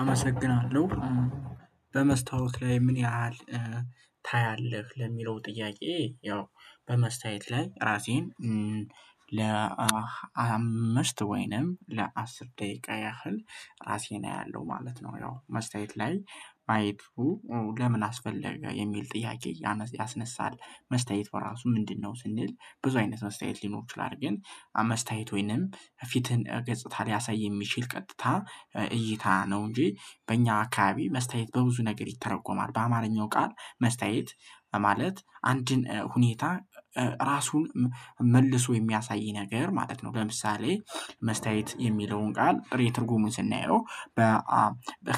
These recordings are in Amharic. አመሰግናለሁ። "በመስታውት ላይ ምን ያህል ታያለህ?" ለሚለው ጥያቄ ያው በመስታውት ላይ ራሴን ለአምስት ወይንም ለአስር ደቂቃ ያህል አራሴን አያለሁ ማለት ነው ያው መስታውት ላይ ማየቱ ለምን አስፈለገ የሚል ጥያቄ ያስነሳል። መስታውት በራሱ ምንድነው ስንል ብዙ አይነት መስታውት ሊኖሩ ይችላሉ ግን መስታውት ወይንም ፊትህን ገጽታ ሊያሳይ የሚችል ቀጥታ እይታ ነው እንጂ በእኛ አካባቢ መስታውት በብዙ ነገር ይተረጎማል። በአማርኛው ቃል መስታውት ማለት አንድን ሁኔታ ራሱን መልሶ የሚያሳይ ነገር ማለት ነው። ለምሳሌ መስታውት የሚለውን ቃል ጥሬ ትርጉሙን ስናየው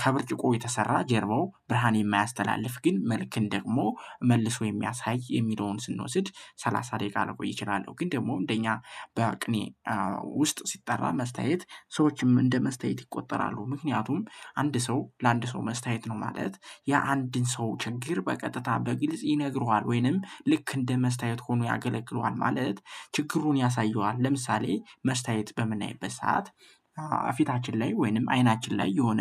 ከብርጭቆ የተሰራ ጀርባው ብርሃን የማያስተላልፍ ግን መልክን ደግሞ መልሶ የሚያሳይ የሚለውን ስንወስድ ሰላሳ ደቂቃ ልቆይ እችላለሁ። ግን ደግሞ እንደኛ በቅኔ ውስጥ ሲጠራ መስታውት ሰዎችም እንደ መስታውት ይቆጠራሉ። ምክንያቱም አንድ ሰው ለአንድ ሰው መስታውት ነው ማለት የአንድን ሰው ችግር በቀጥታ በግልጽ ይነግሩሃል ወይንም ልክ እንደ መስታውት ሆኖ ያገለግለዋል ማለት ችግሩን ያሳየዋል። ለምሳሌ መስታውት በምናይበት ሰዓት ፊታችን ላይ ወይንም አይናችን ላይ የሆነ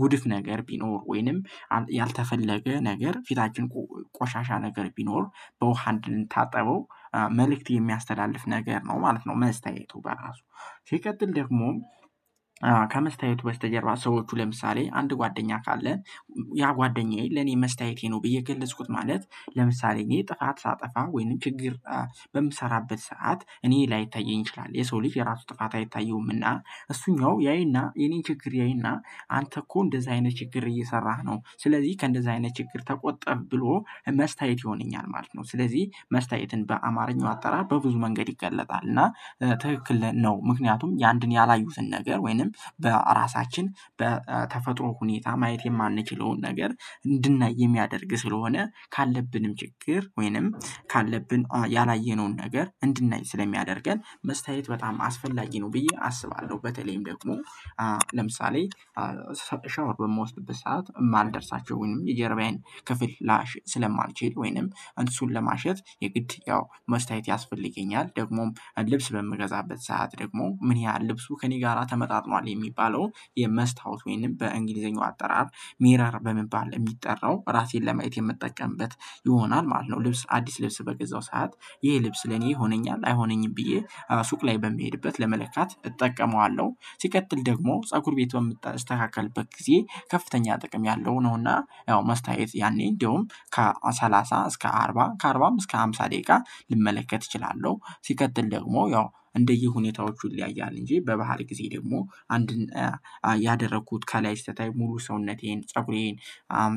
ጉድፍ ነገር ቢኖር ወይንም ያልተፈለገ ነገር ፊታችን ቆሻሻ ነገር ቢኖር በውሃ እንድንታጠበው መልእክት የሚያስተላልፍ ነገር ነው ማለት ነው መስታውቱ በራሱ ሲቀጥል ደግሞ ከመስታውቱ በስተጀርባ ሰዎቹ ለምሳሌ አንድ ጓደኛ ካለ ያ ጓደኛዬ ለኔ መስታውቴ ነው ብዬ ገለጽኩት ማለት ለምሳሌ እኔ ጥፋት ሳጠፋ ወይንም ችግር በምሰራበት ሰዓት እኔ ላይታየኝ ይችላል። የሰው ልጅ የራሱ ጥፋት አይታየውምና እሱኛው ያይና የኔን ችግር ያይና አንተ እኮ እንደዛ አይነት ችግር እየሰራህ ነው ስለዚህ ከእንደዛ አይነት ችግር ተቆጠብ ብሎ መስታውት ይሆነኛል ማለት ነው። ስለዚህ መስታውትን በአማርኛው አጠራር በብዙ መንገድ ይገለጣል እና ትክክል ነው ምክንያቱም የአንድን ያላዩትን ነገር ወይንም በራሳችን በተፈጥሮ ሁኔታ ማየት የማንችለውን ነገር እንድናይ የሚያደርግ ስለሆነ ካለብንም ችግር ወይንም ካለብን ያላየነውን ነገር እንድናይ ስለሚያደርገን መስታውት በጣም አስፈላጊ ነው ብዬ አስባለሁ። በተለይም ደግሞ ለምሳሌ ሻወር በምወስድበት ሰዓት የማልደርስባቸውን የጀርባዬን ክፍል ላሽ ስለማልችል ወይንም እሱን ለማሸት የግድ ያው መስታውት ያስፈልገኛል። ደግሞም ልብስ በምገዛበት ሰዓት ደግሞ ምን ያህል ልብሱ ከእኔ ጋራ ተመጣጥኗል የሚባለው የመስታወት ወይንም በእንግሊዘኛው አጠራር ሚረር በመባል የሚጠራው ራሴን ለማየት የምጠቀምበት ይሆናል ማለት ነው። ልብስ አዲስ ልብስ በገዛው ሰዓት ይሄ ልብስ ለኔ ይሆነኛል አይሆነኝም ብዬ ሱቅ ላይ በምሄድበት ለመለካት እጠቀመዋለሁ። ሲቀጥል ደግሞ ፀጉር ቤትም በምስተካከልበት ጊዜ ከፍተኛ ጥቅም ያለው ነውና ያው መስታውት ያኔ እንደውም ከሰላሳ እስከ አርባ ከአርባም እስከ ሃምሳ ደቂቃ ልመለከት እችላለሁ። ሲቀጥል ደግሞ ያው እንደየሁኔታዎቹ ይለያያል እንጂ በባህር ጊዜ ደግሞ አንድን ያደረኩት ከላይ ስታይ ሙሉ ሰውነቴን ፀጉሬን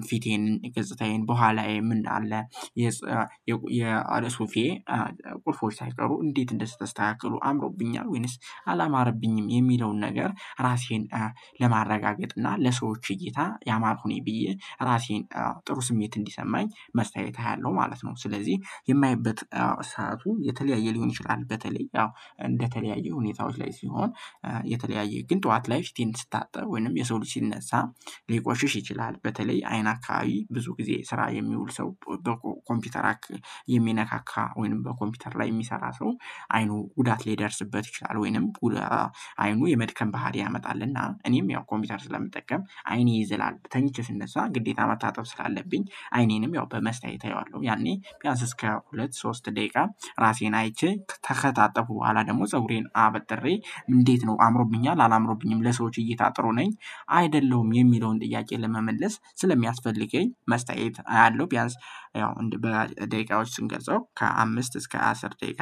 ፊቴን ገጽታዬን በኋላዬ ምን አለ የሱፌ ቁልፎች ሳይቀሩ እንዴት እንደተስተካከሉ አምሮብኛል ወይንስ አላማረብኝም የሚለውን ነገር ራሴን ለማረጋገጥና ለሰዎች እይታ ያማርኩኝ ብዬ ራሴን ጥሩ ስሜት እንዲሰማኝ መስታውት አያለሁ ማለት ነው። ስለዚህ የማይበት ሰዓቱ የተለያየ ሊሆን ይችላል። በተለይ አዎ እንደተለያዩ ሁኔታዎች ላይ ሲሆን የተለያየ ግን ጠዋት ላይ ፊቴን ስታጠብ ወይንም የሰው ልጅ ሲነሳ ሊቆሽሽ ይችላል። በተለይ አይን አካባቢ ብዙ ጊዜ ስራ የሚውል ሰው በኮምፒውተር የሚነካካ ወይንም በኮምፒውተር ላይ የሚሰራ ሰው ዐይኑ ጉዳት ሊደርስበት ይችላል ወይንም ቁላ ዐይኑ የመድከም ባህሪ ያመጣልና እኔም ያው ኮምፒውተር ስለምጠቀም ዐይኔ ይዝላል። ተኝቼ ስነሳ ግዴታ መታጠብ ስላለብኝ ዐይኔንም ያው በመስታውት አየዋለሁ። ያኔ ቢያንስ እስከ ሁለት ሶስት ደቂቃ ራሴን አይቼ ከታጠብኩ በኋላ ደግሞ ፀጉሬን አበጥሬ እንዴት ነው አምሮብኛል አላማረብኝም ለሰዎች እይታ ጥሩ ነኝ አይደለሁም የሚለውን ጥያቄ ለመመለስ ስለሚያስፈልገኝ መስታውት አያለሁ ቢያንስ ያው በደቂቃዎች ስንገልፀው ከአምስት እስከ አስር ደቂቃ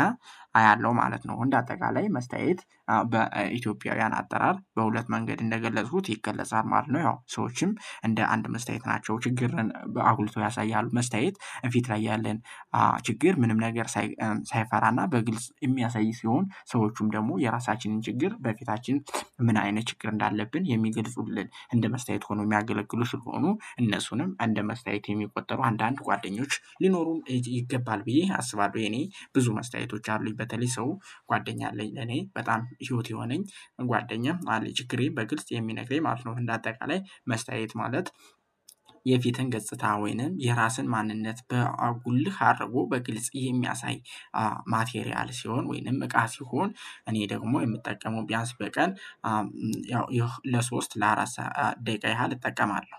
አያለሁ ማለት ነው እንደ አጠቃላይ መስታውት በኢትዮጵያውያን አጠራር በሁለት መንገድ እንደገለጽኩት ይገለጻል ማለት ነው። ያው ሰዎችም እንደ አንድ መስታውት ናቸው ችግርን አጉልቶ ያሳያሉ መስታውት ፊት ላይ ያለን ችግር ምንም ነገር ሳይፈራና በግልጽ የሚያሳይ ሲሆን ሰዎቹም ደግሞ የራሳችንን ችግር በፊታችን ምን አይነት ችግር እንዳለብን የሚገልጹልን እንደ መስታውት ሆኖ የሚያገለግሉ ስለሆኑ እነሱንም እንደ መስታውት የሚቆጠሩ አንዳንድ ጓደኞች ሊኖሩም ይገባል ብዬ አስባለሁ የኔ ብዙ መስታውቶች አሉኝ በተለይ ሰው ጓደኛ አለኝ። እኔ በጣም ህይወት የሆነኝ ጓደኛም አለ ችግሬን በግልጽ የሚነግረኝ ማለት ነው እንደ አጠቃላይ መስታውት ማለት የፊትን ገጽታ ወይንም የራስን ማንነት በጉልህ አድርጎ በግልጽ የሚያሳይ ማቴሪያል ሲሆን ወይንም እቃ ሲሆን እኔ ደግሞ የምጠቀመው ቢያንስ በቀን ያው ለሶስት ለአራት ደቂቃ ያህል እጠቀማለሁ።